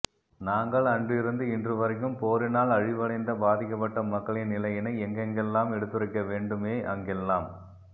நாங்கள் அன்றிருந்து இன்று வரைக்கும் போரினால் அழிவடைந்த பாதிக்கப்பட்ட மக்களின் நிலையினை எங்கெங்கெல்லாம் எடுத்துரைக்க வேண்டுமே அங்கெல்லாம்